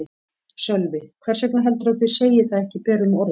Sölvi: Hvers vegna heldurðu að þau segi það ekki berum orðum?